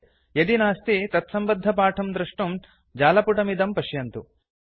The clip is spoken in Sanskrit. यदि नास्ति एतत्सम्बद्धपाठं दृष्टुं जालपुटमिदं पश्यन्तु